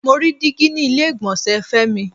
Mo rí dígí ni ilé ìgbọ̀nsẹ̀ Femi.